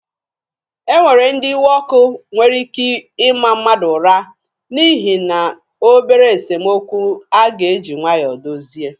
E nwere ndị iwe ọkụ nwere ike ịma mmadụ ụra n'ihi na obere esemokwu a ga-eji nwayọọ dozie.